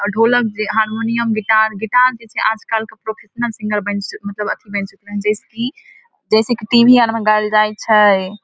और ढोलक जे हारमोनियम गिटार गिटार जे से आज कल प्रोफेशनल सिंगर बन से मतलब अथि जैसे की टी.वी. आर मे बनयल जाय छै ।